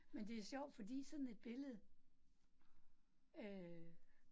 Men det sjovt fordi sådan et billede øh